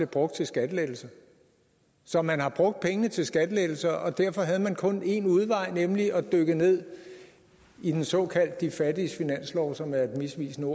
brugt til skattelettelser så man har brugt pengene til skattelettelser og derfor havde man kun én udvej nemlig at dykke ned i den såkaldte de fattiges finanslov som er en misvisende